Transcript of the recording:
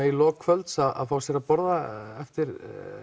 í lok kvölds að fá sér að borða eftir